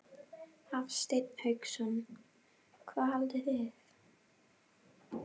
Hafsteinn Hauksson: Hvað haldið þið?